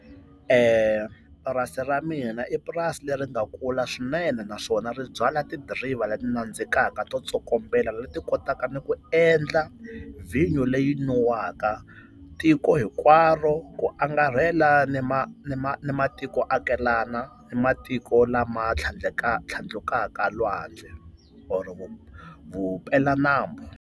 Purasi ra mina i purasi leri nga kula swinene naswona ri byala tidiriva leti nandzikaka to tsokombela leti kotaka ni ku endla vhinyo leyi nwiwaka tiko hinkwaro ku angarhela ni ni matiko akelana, ni matiko lama tlhandlukaka lwandle or vupeladyambu.